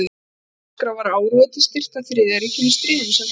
Á dagskrá var áróður til styrktar Þriðja ríkinu í stríðinu, sem þá var hafið.